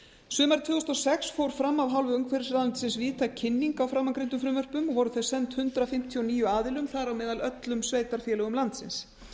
sumarið tvö þúsund og sex fór fram af hálfu umhverfisráðuneytis víðtæk kynning á framangreindum frumvörpum og voru þau send hundrað fimmtíu og níu aðilum þar á meðal öllum sveitarfélögum landsins